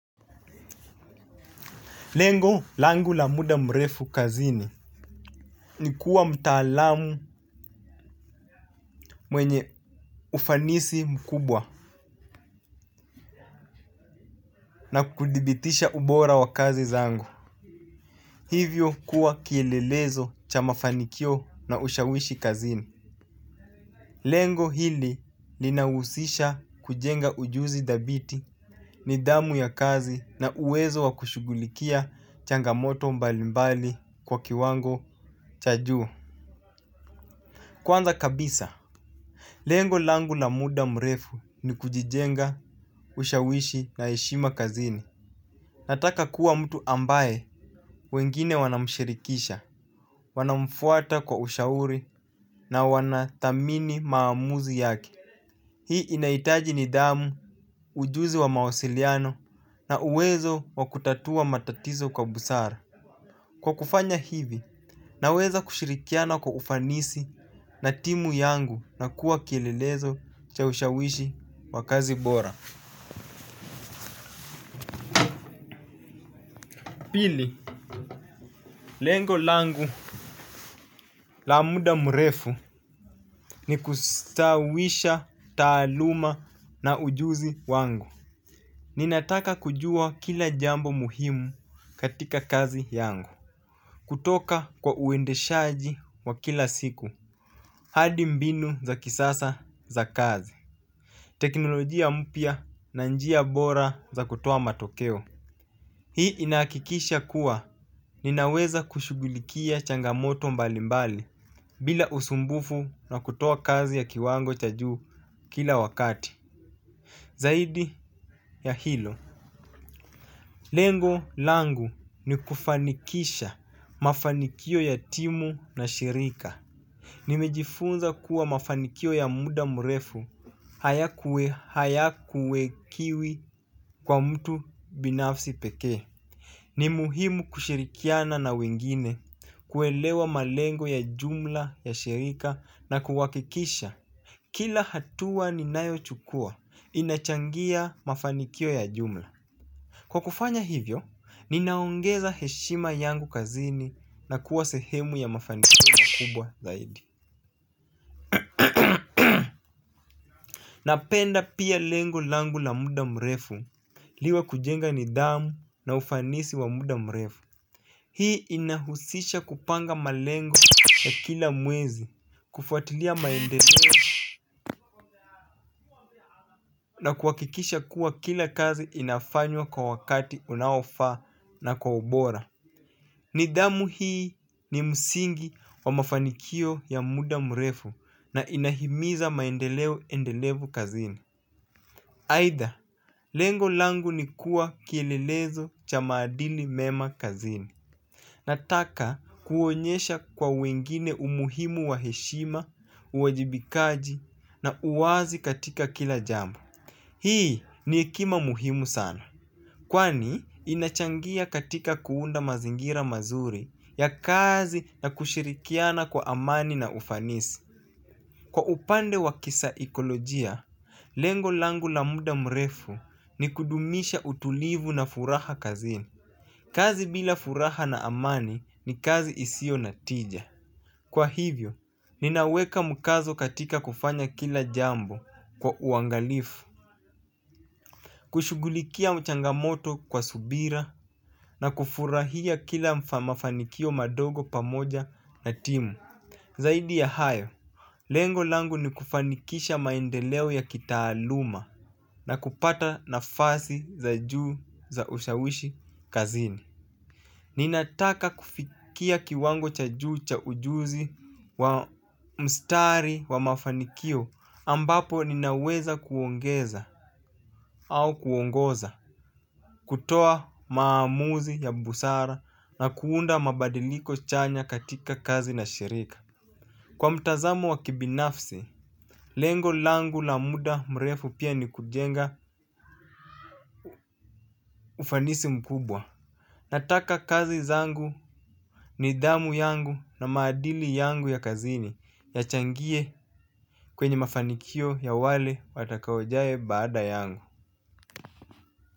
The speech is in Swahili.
Lengo langu na muda mrefu kazini ni kuwa mtaalamu mwenye ufanisi mkubwa na kudhibitisha ubora wa kazi zangu. Hivyo kuwa kielelezo cha mafanikio na ushawishi kazini. Lengo hili linahusisha kujenga ujuzi dhabiti nidhamu ya kazi na uwezo wa kushughulikia changamoto mbalimbali kwa kiwango cha juu. Kwanza kabisa, lengo langu na muda mrefu ni kujijenga, ushawishi na heshima kazini. Nataka kuwa mtu ambaye wengine wanamshirikisha, wanamfuata kwa ushauri na wanadhamini maamuzi yake. Hii inaitaji nidhamu, ujuzi wa mawasiliano na uwezo wakutatua matatizo kwa busara. Kwa kufanya hivi, naweza kushirikiana kwa ufanisi na timu yangu na kuwa kilelezo cha ushawishi wa kazi bora. Pili, lengo langu la muda mrefu ni kustawisha taaluma na ujuzi wangu. Ninataka kujua kila jambo muhimu katika kazi yangu kutoka kwa uendeshaji wa kila siku hadi mbinu za kisasa za kazi. Teknolojia mpya na njia bora za kutoa matokeo hii inahakikisha kuwa ninaweza kushughulukia changamoto mbalimbali. Bila usumbufu na kutoa kazi ya kiwango cha juu kila wakati. Zaidi ya hilo. Lengo langu ni kufanikisha mafanikio ya timu na shirika. Nimejifunza kuwa mafanikio ya muda mrefu hayakuwe kiwi kwa mtu binafsi pekee. Ni muhimu kushirikiana na wengine kuelewa malengo ya jumla ya shirika na kuhakikisha kila hatua ninayochukua inachangia mafanikio ya jumla. Kwa kufanya hivyo, ninaongeza heshima yangu kazini na kuwa sehemu ya mafanikio na kubwa zaidi. Napenda pia lengo langu la muda mrefu liwe kujenga nidhamu na ufanisi wa muda mrefu. Hii inahusisha kupanga malengo ya kila mwezi, kufuatilia maendeleo na kuhakikisha kuwa kila kazi inafanywa kwa wakati unaofaa na kwa ubora. Nidhamu hii ni msingi wa mafanikio ya muda mrefu na inahimiza maendeleo endelevu kazini. Aidha, lengo langu ni kuwa kielelezo cha maadili mema kazini. Nataka kuonyesha kwa wengine umuhimu wa heshima, uwajibikaji na uwazi katika kila jambo. Hii ni hekima muhimu sana. Kwani inachangia katika kuunda mazingira mazuri ya kazi na kushirikiana kwa amani na ufanisi. Kwa upande wa kisaikolojia, lengo langu la muda mrefu ni kudumisha utulivu na furaha kazini. Kazi bila furaha na amani ni kazi isio na tija. Kwa hivyo, ninaweka mkazo katika kufanya kila jambo kwa uangalifu. Kushugulikia changamoto kwa subira na kufurahia kila mafanikio madogo pamoja na timu. Zaidi ya hayo, lengo langu ni kufanikisha maendeleo ya kitaaluma na kupata nafasi za juu za ushawishi kazini. Ninataka kufikia kiwango cha juu cha ujuzi wa mstari wa mafanikio ambapo ninaweza kuongeza au kuongoza kutoa maamuzi ya busara na kuunda mabadiliko chanya katika kazi na shirika. Kwa mtazamo wa kibinafsi, lengo langu la muda mrefu pia ni kujenga ufanisi mkubwa. Nataka kazi zangu nidhamu yangu na maadili yangu ya kazini yachangie kwenye mafanikio ya wale watakaojae baada yangu.